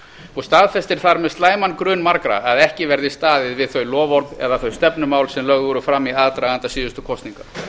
og staðfestir þar með slæman grun margra að ekki verði staðið við þau loforð eða þau stefnumál sem lögð voru fram í aðdraganda síðustu kosninga